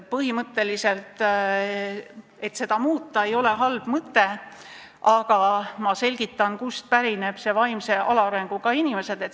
Põhimõtteliselt ei ole see muutmine halb mõte, aga ma selgitan, kust pärineb see väljend "vaimse alaarenguga inimesed".